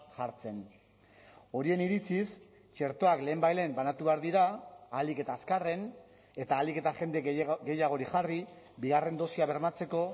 jartzen horien iritziz txertoak lehenbailehen banatu behar dira ahalik eta azkarren eta ahalik eta jende gehiago gehiagori jarri bigarren dosia bermatzeko